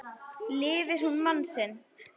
Lifir hún mann sinn.